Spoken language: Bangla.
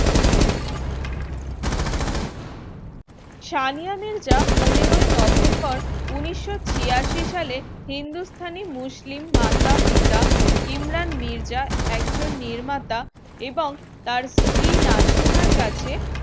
সানিয়া মির্জা পনেরো ই november উনিশ শ ছিয়াশি সালে হিন্দুস্থানী মুসলিম মাতা-পিতা ইমরান মির্জা একজন নির্মাতা এবং তার স্ত্রী নাসিমার কাছে